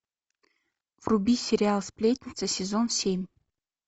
вруби сериал сплетница сезон семь